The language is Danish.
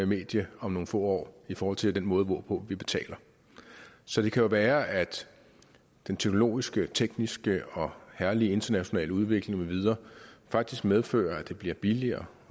medie om nogle få år i forhold til den måde hvorpå vi betaler så det kan jo være at den teknologiske tekniske og herlige internationale udvikling med videre faktisk medfører at det bliver billigere